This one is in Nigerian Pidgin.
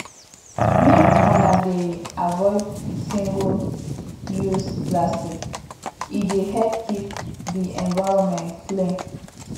make una dey avoid singleuse plastics e dey help keep di environment clean